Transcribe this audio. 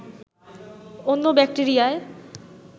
অন্য ব্যাক্টেরিয়ায়